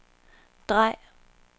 drej